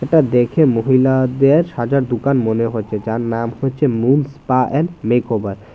এইটা দেখে মহিলাদের সাজার দোকান মনে হচ্ছে যার নাম হচ্ছে Moon Spa and Makeover.